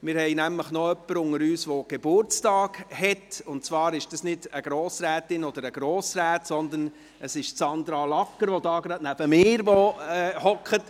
Wir haben jemanden unter uns, der Geburtstag hat, und zwar ist es nicht eine Grossrätin oder ein Grossrat, sondern es ist Sandra Lagger, die neben mir sitzt.